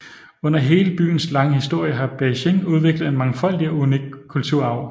Under hele byens lange historie har Beijing udviklet en mangfoldig og unik kulturarv